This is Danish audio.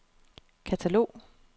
katalog